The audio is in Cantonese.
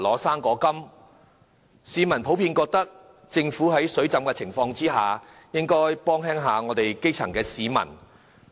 市民普遍覺得政府在庫房"水浸"的情況下，應該減輕基層市民的負擔。